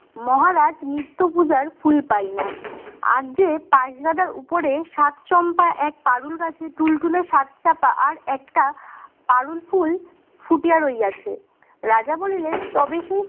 মহারাজ নিত্য পূজার ফুল পাই না আর যে . উপরে সাত চম্পা এক পারুল গাছে তুলতুলে সাত চাপা আর একটা পারুল ফুল ফুটিয়ে আছে রাজা বলিলেন তবে সেই